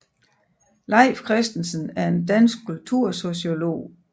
Leif Christensen er en dansk kultursociolog